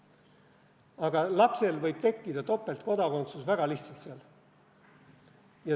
Aga lapsel võib tekkida topeltkodakondsus väga lihtsalt.